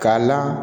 Ka la